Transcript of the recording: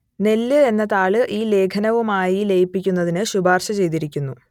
നെല്ല് എന്ന താൾ ഈ ലേഖനവുമായി ലയിപ്പിക്കുന്നതിന് ശുപാർശ ചെയ്തിരിക്കുന്നു